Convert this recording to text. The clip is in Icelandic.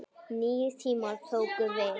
Nýir tímar tóku við.